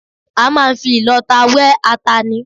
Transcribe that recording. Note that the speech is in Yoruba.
A máa ń fi ìlọta wẹ́ ata ni